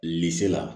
la